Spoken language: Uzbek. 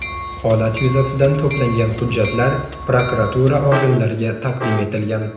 Holat yuzasidan to‘plangan hujjatlar prokuratura organlariga taqdim etilgan.